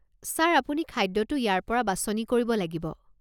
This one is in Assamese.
ছাৰ, আপুনি খাদ্যটো ইয়াৰ পৰা বাছনি কৰিব লাগিব।